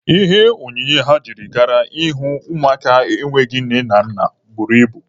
Ihe onyinye ha jiri gaa ịhụ ụmụaka enweghị nne na nna buru ibu.